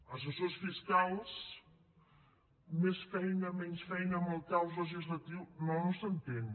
assessors fiscals més feina menys feina amb el caos legislatiu no no s’entén